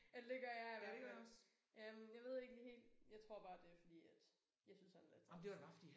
Eller det gør jeg i hvert fald. Øh jeg ved ikke helt jeg tror bare det fordi at jeg synes han er lidt træls